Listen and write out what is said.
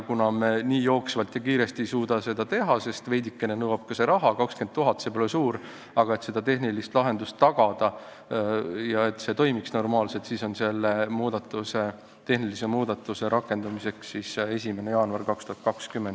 Kuna me jooksvalt ja nii kiiresti ei suuda seda teha, sest veidikene nõuab see ka raha – 20 000, see pole suur summa –, et seda tehnilist lahendust tagada, nii et see toimiks normaalselt, siis on selle tehnilise muudatuse rakendamise tähtaeg 1. jaanuar 2020.